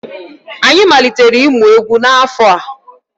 Anyị malitere ịmụ egwu n'afọ a.